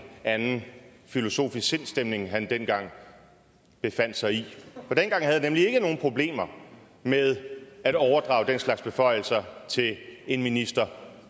anden filosofisk sindsstemning han dengang befandt sig i for dengang havde han nemlig ikke nogen problemer med at overdrage den slags beføjelser til en minister